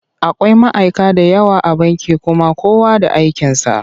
Akwai ma'aika da yawa a banki kuma kowa da aikinsa.